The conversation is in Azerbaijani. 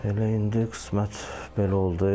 Elə indi qismət belə oldu.